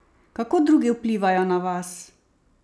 Kako drugi vplivajo na vas?